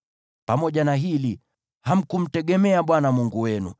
Pamoja na hili, hamkumtegemea Bwana Mungu wenu,